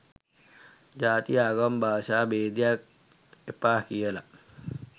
ජාති ආගම් භාෂා භේදයක් එපා කියල